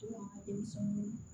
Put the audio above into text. De bɛ sɔn